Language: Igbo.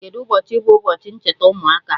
Kedụ ụbọchị bụ ụbọchi ncheta ụmụaka?